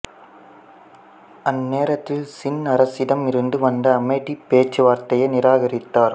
அந்நேரத்தில் சின் அரசிடம் இருந்து வந்த அமைதிப் பேச்சுவார்த்தையை நிராகரித்தார்